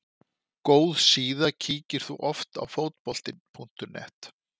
góð síða Kíkir þú oft á Fótbolti.net?